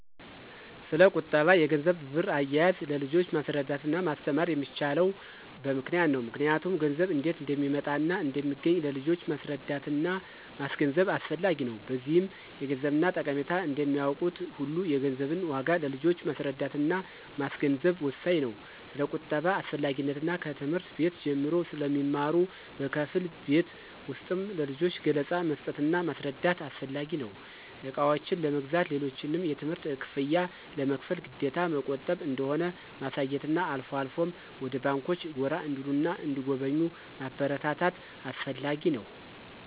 ስለቁጠባ፣ የገንዘብና ብር አያያዝ ለልጆች ማስረዳትና ማስተማር የሚቻለው በምክንያት ነው ምክንያቱም ገንዘብ እንዴት እንደሚመጣና እንደሚገኝ ለልጆች ማስረዳትና ማስገንዘብ አስፈላጊ ነው። በዚህም የገንዘብን ጠቀሜታ እንደሚያውቁት ሁሉ የገንዘብን ዋጋ ለልጆች ማስረዳትና ማስገንዘብ ወሳኝ ነው። ስለቁጠባ አስፈላጊነት ከትምህርት ቤት ጀምሮ ስለሚማሩ በከፊል ቤት ውስጥም ለልጆች ገለፃ መስጠትና ማስረዳት አስፈላጊ ነው። እቃዎችን ለመግዛት፣ ሌሎችንም የትምህርት ክፍያ ለመክፈል ግዴታ መቆጠብ እንደሆነ ማሳየትና አልፎ አልፎም ወደ ባንኮች ጎራ እንዲሉና እንዲጎበኙ ማበረታታት አስፈላጊ ነው።